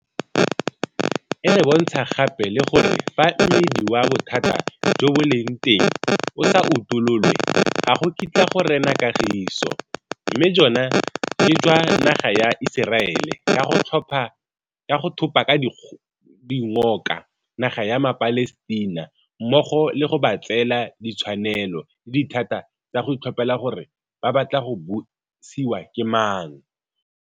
E re bontsha gape le gore fa mmidi wa bothata jo bo leng teng o sa utololwe ga go kitla go rena kagiso, mme jona ke jwa naga ya Iseraele ka go thopa ka dikgoka naga ya maPalestina mmogo le go ba tseela ditshwanelo le dithata tsa go itlhophela gore ba batla go busiwa ke mang.